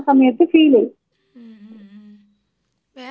ഉം ഉം ഉം വേറെ എന്തൊക്കെയുണ്ടെടാ അവിടെ?